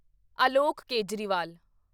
Alok Kejriwal